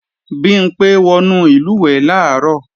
Bimpé wọnú ìlùwẹ̀ẹ̀ làárọ̀